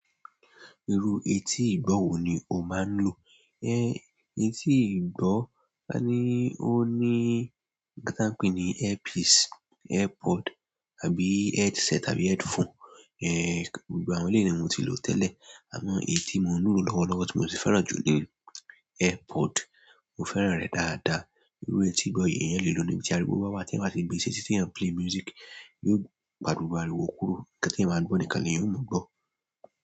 Irú etí ìgbọ̀ wò ni o máa ń lò? Etí ìgbọ̀, a ní, ó ní nǹkan ti a n pè ní earpiece, airpod tàbí headset tàbí headphone. Eh, gbogbo àwọn eleyi ni mo ti lò tẹ́lẹ̀, àmọ́ èyí ti mo ń lò lọ́wọ́lọ́wọ́ tí mo sì fẹ́ràn jù ni airpod. Mo fẹ́ràn rẹ̀ dáadáa. Irú etí ìgbọ̀ yí eeyan le lo níbi tí ariwo bawà tí eeyan bá ti gbe seti, tí ẹ ń play music, yóò pa gbogbo ariwò kúrò. Nǹkan ti eeyan máa ń gbọ̀ nìkan ni eeyan o mọ̀ gbọ́.